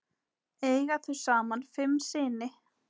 Eiga þau saman fimm syni.